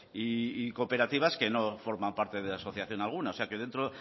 y cooperativas que no forman parte de asociación alguna o sea dentro